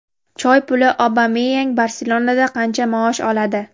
"Choy puli": Obameyang "Barselona"da qancha maosh oladi?.